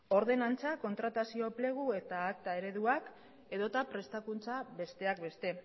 ordenantza kontratazio enplegu eta akta ereduak edota prestakuntza besteak beste